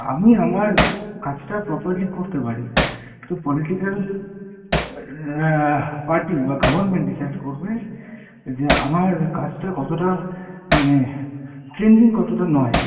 আমি আমার কাজটা properly করতে পারি, কিন্তু political party বা government decide করবে যে আমার কাজটা কতটা মানে কতটা নয়।